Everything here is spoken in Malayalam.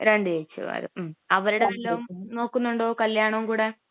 രണ്ടു ചേച്ചിമാര്, അവരുടെ വല്ലോം നോക്കുന്നുണ്ടോ കല്യാണം കൂടെ?